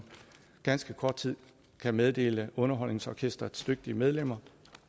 ganske kort tid kan meddele underholdningsorkestrets dygtige medlemmer